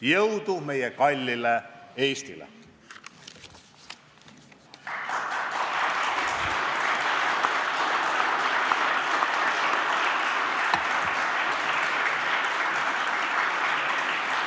Jõudu meie kallile Eestile!